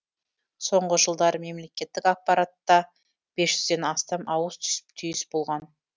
соңғы жылдары мемлекеттік аппаратта бес жүзден астам ауыс түйіс болған